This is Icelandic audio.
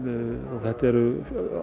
þetta eru